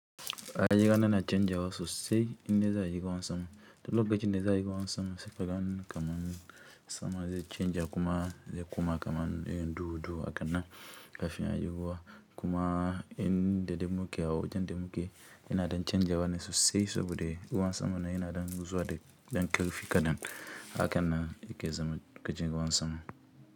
Rayuwana na canjawa sosai indai za'a yi ruwan sama duk lokacinda za'ayi ruwan sama saika ganni kaman sama zai canja kuma zai kuma kaman ƴan duhu duhu hakanan kafin ayi ruwa kuma inda dai muke a wajan da muke yana ɗan canjawa ne sosai saboda ruwan saman nan yana ɗan zuwa da dan ƙarfi kaɗan hakannan yake zama lokacin ruwan sama.